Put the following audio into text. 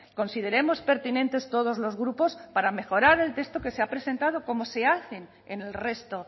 consideremos pertinentes todos los grupos para mejorar el texto que se ha presentado como se hace en el resto